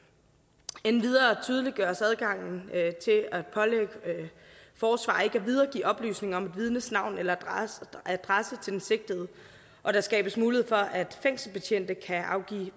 endvidere tydeliggøres adgangen til at pålægge forsvarere ikke at videregive oplysninger om et vidnes navn eller adresse til den sigtede og der skabes mulighed for at fængselsbetjente kan afgive